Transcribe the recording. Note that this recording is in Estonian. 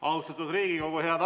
Austatud Riigikogu!